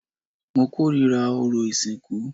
Mo kórìíra orò ìsìnkú